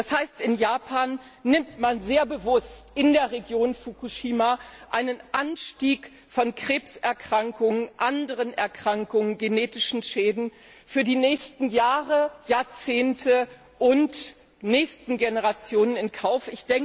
Das heißt, in Japan nimmt man sehr bewusst in der Region Fukushima einen Anstieg von Krebserkrankungen, anderen Erkrankungen und genetischen Schäden in der Region Fukushima für die nächsten Jahre, Jahrzehnte und Generationen in Kauf.